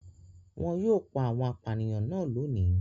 Wọn yóò pa àwọn apànìyàn náà lónìí.